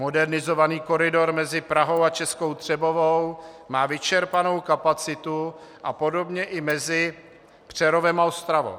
Modernizovaný koridor mezi Prahou a Českou Třebovou má vyčerpanou kapacitu a podobně i mezi Přerovem a Ostravou.